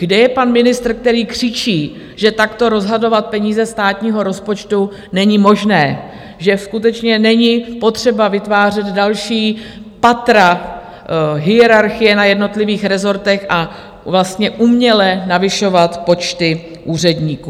Kde je pan ministr, který křičí, že takto rozhodovat peníze státního rozpočtu není možné, že skutečně není potřeba vytvářet další patra hierarchie na jednotlivých rezortech a vlastně uměle navyšovat počty úředníků?